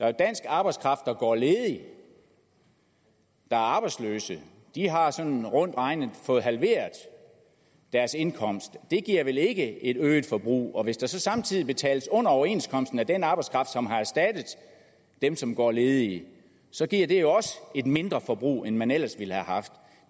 er dansk arbejdskraft der går ledig der er arbejdsløse de har sådan rundt regnet fået halveret deres indkomst det giver ikke et øget forbrug og hvis der så samtidig betales under overenskomsten til den arbejdskraft som har erstattet dem som går ledige så giver det også et mindre forbrug end man ellers ville have haft